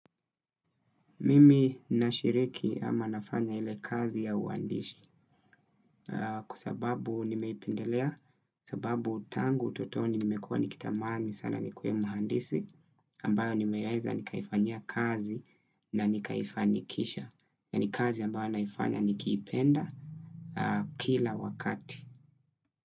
Mimi na shiriki ama nafanya ile kazi ya uandishi kwasababu nimeipendelea, kwa sababu tangu utotoni nimekuwa nikitamani sana nikuwe muandisi ambayo nimeweza nikaifanyia kazi na nikaifanikisha na nikazi ambayo naifanya nikipenda kila wakati.